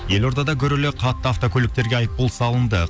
елордада гүрілі қатты автокөліктерге айыппұл салынды